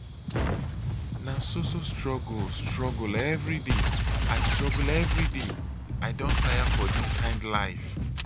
na so so struggle struggle everyday i struggle everyday i don tire for dis kind life.